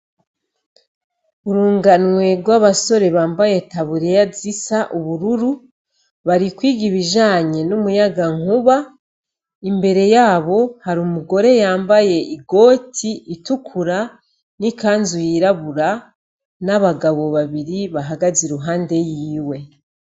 Urunganwe rw'abasore bambaye tabureya zisa ubururu barikwiga ibijanye n'umuyaga nkuba imbere yabo hari umugore yambaye igoti itukura n'i kanzu yirabura n'abagabo babiri bahagaze i ruhande yiwe.